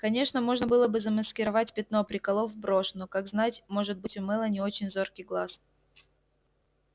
конечно можно было бы замаскировать пятно приколов брошь но как знать может быть у мелани очень зоркий глаз